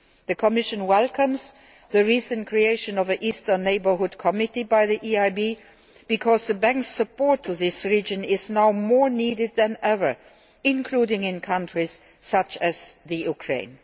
The Commission welcomes the recent creation of an Eastern Neighbourhood Committee by the EIB, because the Bank's support to the region is needed now more than ever, including in countries such as Ukraine.